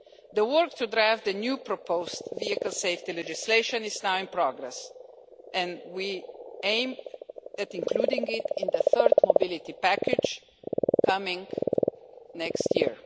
The work to draft the new proposed vehicle safety legislation is now in progress, and we aim at including it in the third mobility package coming next year.